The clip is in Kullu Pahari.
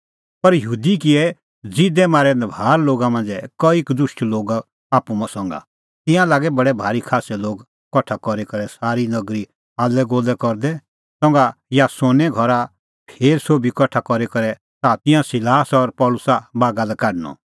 पर यहूदी किऐ ज़िदै मारै नभार लोगा मांझ़ै कई कदुष्ट लोग आप्पू संघा तिंयां लागै बडै भारी खास्सै लोग कठा करी करै सारी नगरी हाल्लैगोल्लै करदै संघा यासोने घरा फेर सोभी कठा करी करै च़ाहा तै तिंयां सिलास और पल़सी बागा लै काढणअ